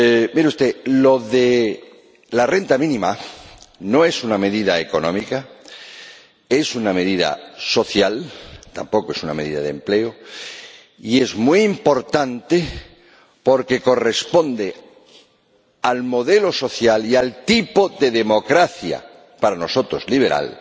Mire usted, lo de la renta mínima no es una medida económica, es una medida social —tampoco es una medida de empleo—, y es muy importante, porque corresponde al modelo social y al tipo de democracia —para nosotros liberal—